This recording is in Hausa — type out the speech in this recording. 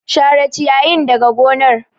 Share ciyayin daga gonar.